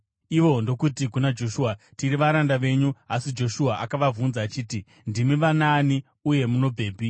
Ivo ndokuti kuna Joshua, “Tiri varanda venyu.” Asi Joshua akavabvunza achiti, “Ndimi vanaani uye munobvepi?”